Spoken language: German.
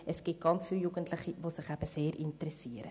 Es gibt viele Jugendliche, die sich sehr interessieren.